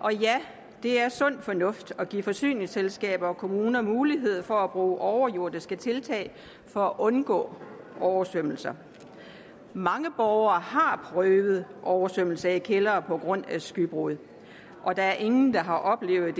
og ja det er sund fornuft at give forsyningsselskaber og kommuner mulighed for at bruge overjordiske tiltag for at undgå oversvømmelser mange borgere har prøvet at have oversvømmelse i kældre på grund af skybrud og der er ingen der har oplevet